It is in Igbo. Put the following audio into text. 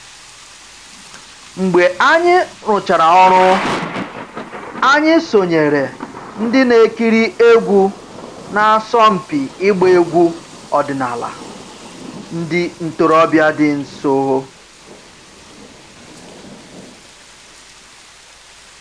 Mgbe anyị rụchara ọrụ, anyị sonyeere ndị na-ekiri egwu na-asọmpi ịgba egwu ọdịnala ndị ntorobịa dị nso